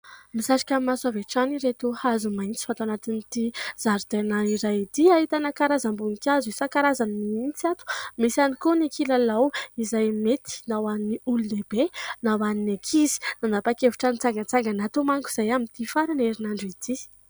Misarika ny maso avy hatrany ireto hazo maitso ato anatin'ity zaridaina iray ity. Ahitana karazam-boninkazo isan-karazany mihitsy ato, misy ihany koa ny kilalao izay mety na ho an'ny olon-dehibe na ho an'ny ankizy. Nanapa-kevitra ny hitsangantsangana ato manko izahay amin'ity faran'ny herinandro ity.